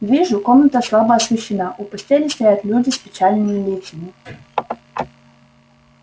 вижу комната слабо освещена у постели стоят люди с печальными лицами